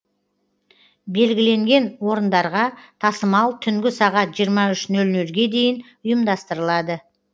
белгіленген орындарға тасымал түнгі сағат жиырма үш нөл нөлге дейін ұйымдастырылады